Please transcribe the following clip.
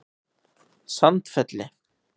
Sandfelli